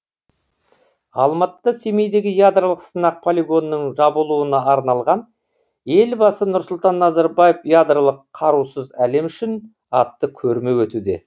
алматыда семейдегі ядролық сынақ полигонының жабылуына арналған елбасы нұрсұлтан назарбаев ядролық қарусыз әлем үшін атты көрме өтуде